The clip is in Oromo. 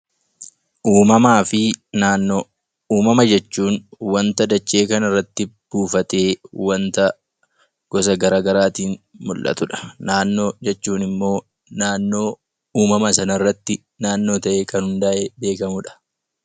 Uumamaa fi Naannoo Uumama jechuun wanta dachee kana irratti buufatee wanta gosa gara garaatiin mul'atu dha. Naannoo jechuun immoo uumama sana irratti naannoo ta'ee kan hundaa'e beekamu dha.